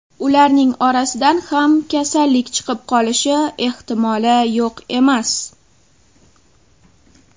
Ularning orasidan ham kasallik chiqib qolishi ehtimoli yo‘q emas.